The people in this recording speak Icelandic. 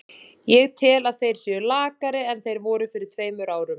Ég tel að þeir séu lakari en þeir voru fyrir tveimur árum.